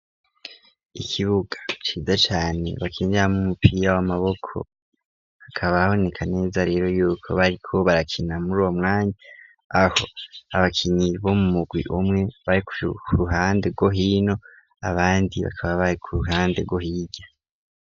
Ikibuga, ciza cane ,bakinyiramwo umupira w'Amaboko ,akaba aboneka neza rero yuko bariko barakina muri uwo mwanya, aho abakinyi bo mu mugwi umwe, bari ku ruhande go hino abandi bakaba bari ku ruhande gohirya.